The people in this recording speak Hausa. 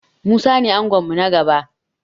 Musa ne angon mu na gaba.